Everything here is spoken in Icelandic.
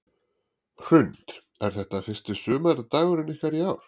Hrund: Er þetta fyrsti sumardagurinn ykkar í ár?